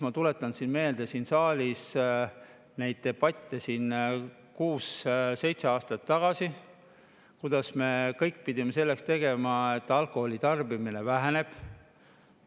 Ma tuletan meelde neid debatte, mis olid siin saalis kuus-seitse aastat tagasi, kui me pidime tegema kõik selleks, et alkoholi tarbimine väheneks.